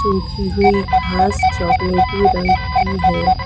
उगी हुई घास चॉकलेटी रंग की है।